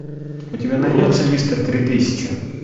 у тебя найдется мистер три тысячи